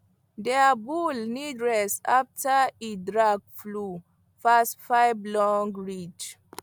their bull need rest after e drag plow pass five long ridge